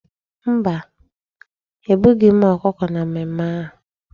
Mba, egbughị m ọkụkọ na mmemme ahu.